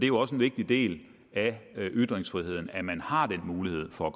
jo også en vigtig del af ytringsfriheden at man har den mulighed for